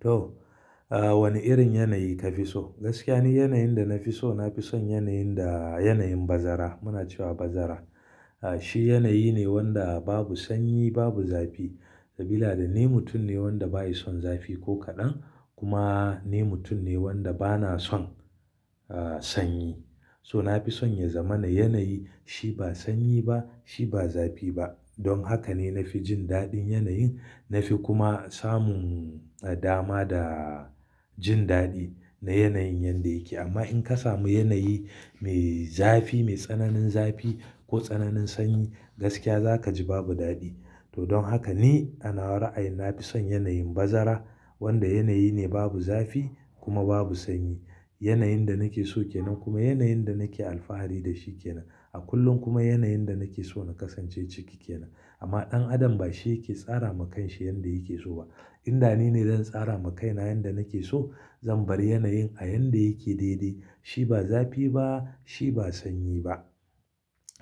To, wani irin yanayi ka fi so? Gaskiya ne yanayin da na fi so, na fi son yanayin da yanayin bazara. Muna cewa bazara. Shi yanayi ne wanda babu sanyi, babu zafi. Sabila da ni mutum ne wanda ba yi son zafi ko kaɗan, kuma ni mutum ne wanda ba na son sanyi. So na fi son ya zama na yanayi shi ba sanyi ba, shi ba zafi ba. Don haka ne na fi jin daɗin yanayin. Na fi kuma samun dama da jin daɗi na yanayin yanda yake. Amma in ka samu yanayi mai zafi, mai tsananin zafi ko tsananin sanyi, gaskiya za ka ji babu daɗi. To don haka ni anawa ra'ayin na fi son yanayin bazara, wanda yanayi ne babu zafi kuma babu sanyi. Yanayin da nake so ke nan kuma yanayin da nake alfahari da shi ke nan. A kullum kuma yanayin da nake so na kasance ciki ke nan. Amma ɗan adam ba shi yake tsara ma kan shi yanda yake so ba. In da ni ne don tsara ma kaina yanda nake so. Zan bar yanayin a yanda yake daidai. Shi ba zafi ba, shi ba sanyi ba.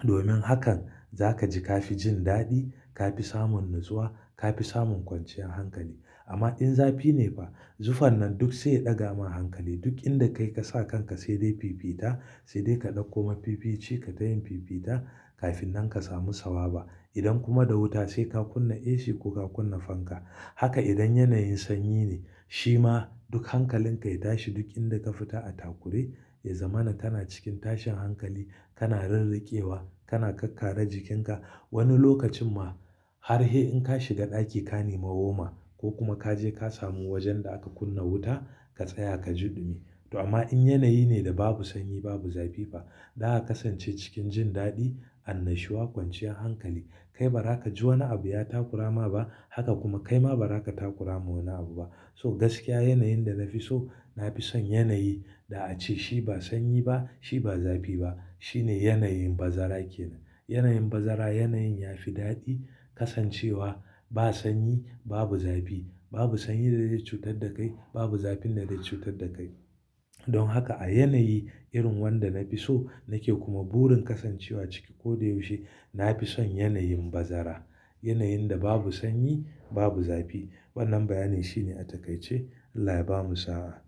Domin hakan za ka ji ka fi jin daɗi, ka fi samun natsuwa, ka fi samun kwanciyar hankali. Amma in zafi ne fa, zufan nan duk zai ɗaga ma hankali. Duk inda kai ka sa kanka sai dai fifita, sai dai ka ɗauko mafifici ka tayin fifita kafin nan ka samu sawa ba. Idan kuma da wuta sai ka kunna AC ko ka kunna fanka. Haka idan yanayin sanyi ne. Shi ma duk hankalinka ya tashi. Duk inda ka fita a takure, ya zama na kana cikin tashin hankali. Kana rirrike wa, kana kakkare jikinka. Wani lokacin ma har sai in ka shiga ɗaki ka nema woma ko kuma ka je ka samu wajen da aka kunna wuta, ka tsaya ka je dumi. Amma in yanayi ne da babu sanyi, babu zafi ba, zaka kasance cikin jin daɗi, annashuwa, kwanciyar hankali. Kai ba za ka ji wani abu ya takurama ba. Haka kuma kai ma ba za ka takurama wani abu ba. To gaskiya yanayin da na fi so, na fi son yanayi da a ce shi ba sanyi ba, shi ba zafi ba. Shi ne yanayin bazara ke nan. Yanayin bazara yanayin ya fi daɗi. Kasancewa ba sanyi, babu zafi, babu sanyi da zai cutar da kai, babu zafin da zai cutar da kai. Don haka a yanayi irin wanda na fi so nake kuma burin kasancewa ciki koyaushe, na fi son yanayin bazara. Yanayin da babu sanyi, babu zafi. Wannan bayanin shi ne a takaice. Allah ya bamu sawa.